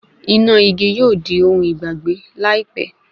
Iná igi yóò di ohun ìgbàgbé láìpẹ́